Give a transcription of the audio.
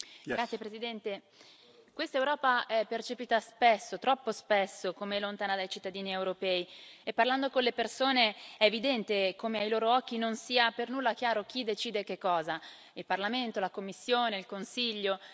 Signor Presidente, onorevoli colleghi, questa Europa è percepita spesso, troppo spesso, come lontana dai cittadini europei e, parlando con le persone, è evidente come ai loro occhi non sia per nulla chiaro chi decide che cosa, il Parlamento, la Commissione, il Consiglio.